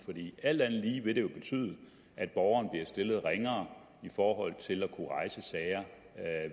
er alt andet lige vil det jo betyde at borgeren bliver stillet ringere i forhold til at kunne rejse sager